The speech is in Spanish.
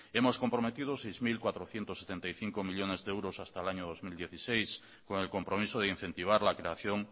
hemos comprometido seis mil cuatrocientos setenta y cinco millónes de euros hasta el año dos mil dieciséis con el compromiso de incentivar la creación